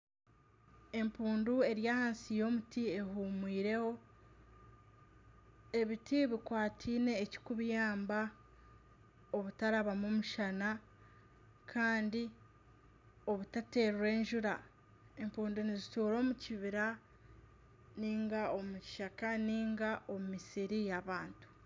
Empundu eri ahansi y'omuti ehumwireho. Ebiti bikwatiine ekikubiyamba obutarabamu mushana Kandi obutaterwa enjura. Empundu nizituura omukibira ninga omukishaka ninga omumisiri y'abantu.